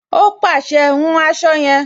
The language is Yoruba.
Ó pàṣẹ, "hun aṣọ yẹn"